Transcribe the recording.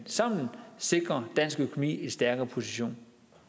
sammen kan sikre dansk økonomi en stærkere position